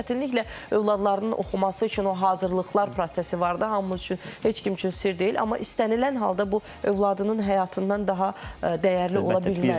Çətinliklə övladlarının oxuması üçün o hazırlıqlar prosesi var da hamımız üçün heç kim üçün sirr deyil, amma istənilən halda bu övladının həyatından daha dəyərli ola bilməz.